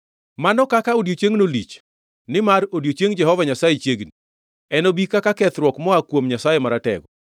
Mano kaka odiechiengno lich! Nimar odiechieng Jehova Nyasaye chiegni, enobi kaka kethruok moa kuom Nyasaye Maratego.